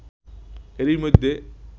এরই মধ্যে